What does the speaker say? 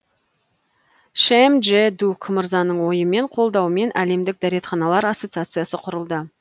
шим джэ дук мырзаның ойымен қолдауымен әлемдік дәретханалар ассоциациясы құрылды